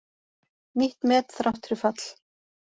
Nýtt met þrátt fyrir fall